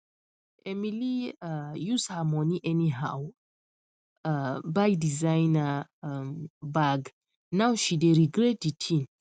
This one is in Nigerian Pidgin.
emily um use her money anyhow um buy designer um bag now she dey regret the thing